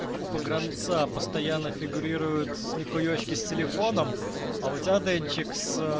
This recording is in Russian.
как у погранца постоянно фигурирует смехуечки с телефоном а у тебя денчик с